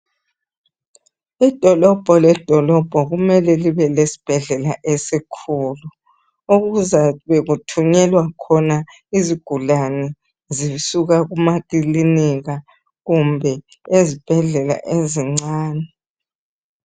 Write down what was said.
Idolobho ledolobho kumele libe lesibhedlela esikhulu ukuze kube kuthunyelwa khona izigulane zisuka kuma klinika kumbe ezibhedlela ezincane